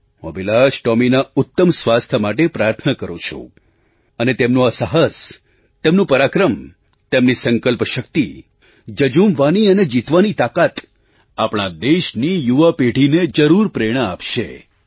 હું અભિલાષ ટૉમીના ઉત્તમ સ્વાસ્થ્ય માટે પ્રાર્થના કરું છું અને તેમનું આ સાહસ તેમનું પરાક્રમ તેમની સંકલ્પશક્તિ જઝૂમવાની અને જીતવાની તાકાત આપણા દેશની યુવા પેઢીને જરૂર પ્રેરણા આપશે